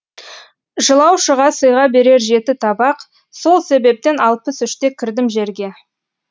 жылаушыға сыйға берер жеті табақ сол себептен алпыс үште кірдім жерге